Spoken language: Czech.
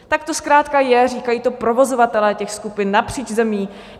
Tak to zkrátka je, říkají to provozovatelé těch skupin napříč zemí.